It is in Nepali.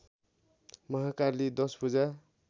महाकाली दशभुजा